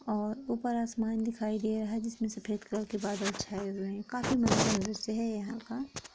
और ऊपर आसमान दिखाई दे रहा है जिसमे सफेद कलर के बादल छाए हुए है| काफी मनोरम दृश्य है यहां का--